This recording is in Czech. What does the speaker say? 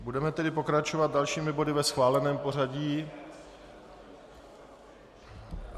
Budeme tedy pokračovat dalšími body ve schváleném pořadí.